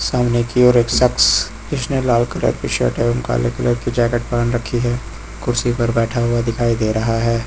सामने की ओर एक शख्स जिसने लाल कलर की शर्ट एवं काले कलर की जैकेट पहन रखी है कुर्सी पर बैठा हुआ दिखाई दे रहा है।